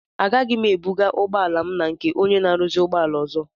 Agaghị m ebuga ụgbọala m na nke ónyé na aruzi ụgbọala ọzọ.